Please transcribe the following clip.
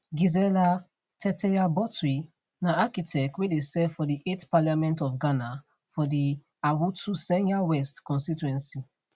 gizella tetteyagbotui na architect wey dey serve for di 8th parliament of ghana for di awutu senya west constituency